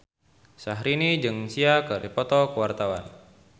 Syahrini jeung Sia keur dipoto ku wartawan